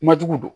Ma jugu don